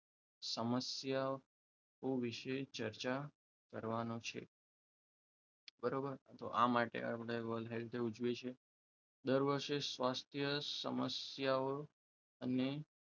સમસ્યાઓ વિશે ચર્ચા કરવાનો છે બરાબર તો આ માટે આપણે world health day ઉજવીએ છે દર વર્ષે શ્વાસ સમસ્યાઓ અને